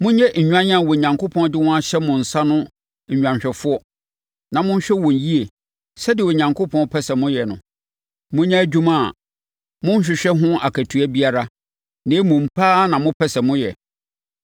monyɛ nnwan a Onyankopɔn de wɔn ahyɛ mo nsa no nnwanhwɛfoɔ na monhwɛ wɔn yie sɛdeɛ Onyankopɔn pɛ sɛ moyɛ no. Monyɛ adwuma a monhwehwɛ ho akatua biara, na mmom, pɛ ara na mopɛ sɛ moyɛ.